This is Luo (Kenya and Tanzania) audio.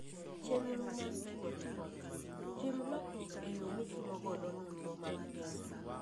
Chenro mar chiwo ripot: Tim lokruok e yo mitimogo nonro mag pesa.